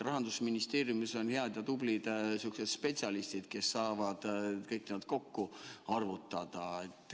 Rahandusministeeriumis on head ja tublid spetsialistid, kes saavad kõik kokku arvutada.